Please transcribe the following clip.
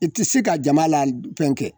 I ti se ka jama la fɛn kɛ